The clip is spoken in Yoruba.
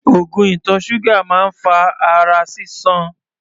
Oògùn ìtọ̀ ṣúgà máa ń fa ara sísan.